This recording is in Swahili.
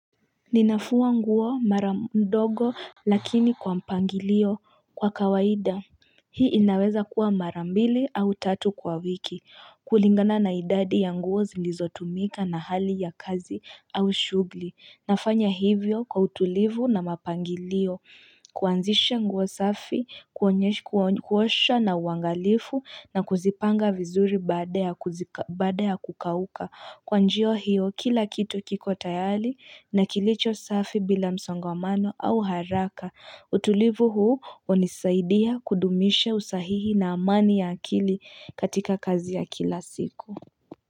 Ninafua nguo mara ndogo lakini kwa mpangilio kwa kawaida hii inaweza kuwa mara mbili au tatu kwa wiki kulingana na idadi ya nguo zilizo tumika na hali ya kazi au shugli nafanya hivyo kwa utulivu na mapangilio kuanzisha nguo safi, kuonyesha kuosha na uangalifu na kuzipanga vizuri baada ya kuzi baade ya kukauka Kwa njia hiyo kila kitu kiko tayali na kilicho safi bila msongomano au haraka utulivu huu hunisaidia kudumisha usahihi na amani ya akili katika kazi ya kila siku.